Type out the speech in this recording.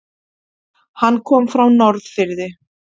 Hann kom frá Norðfirði.